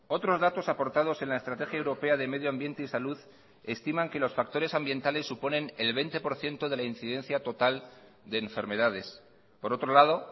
otros datos aportados en la estrategia europea de medioambiente y salud estiman que los factores ambientales suponen el veinte por ciento de la incidencia total de enfermedades por otro lado